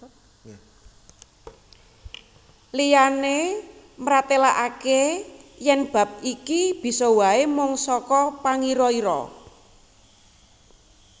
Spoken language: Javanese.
Liyané mratélakaké yèn bab iki bisa waé mung saka pangira ira